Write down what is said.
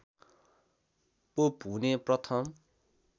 pope हुने प्रथम